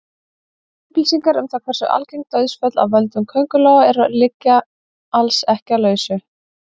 Upplýsingar um það hversu algeng dauðsföll af völdum köngulóa eru liggja alls ekki á lausu.